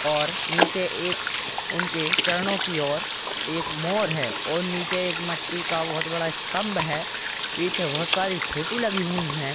और नीचे एक उनके चरणों की ओर एक मोर है और नीचे एक मिट्टी का बहुत बड़ा स्तंभ है पीछे बहुत सारी फोटो लगी हुई हैं।